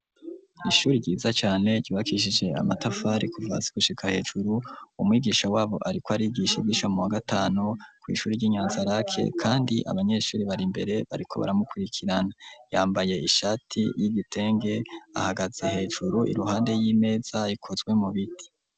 Ishuri ryiza cane ribakishije amatafari kuva hasi gushika hejuru umwigisha wabo ariko arigishe gishamuwa gatanu ku ishuri ry'inyanza rak kandi abanyeshuri bari mbere bariko baramukurikirana yambaye ishati y'igitenge ahagaze hejuru iruhande y'imeza ikozwe mu biti.